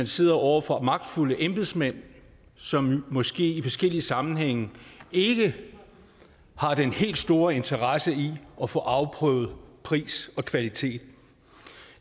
sidder over for magtfulde embedsmænd som måske i forskellige sammenhænge ikke har den helt store interesse i at få afprøvet pris og kvalitet